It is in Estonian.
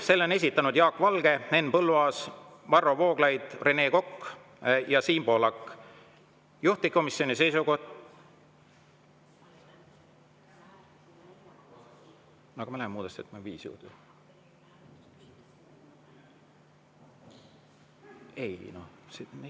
Selle on esitanud Jaak Valge, Henn Põlluaas, Varro Vooglaid, Rene Kokk ja Siim Pohlak, juhtivkomisjoni seisukoht …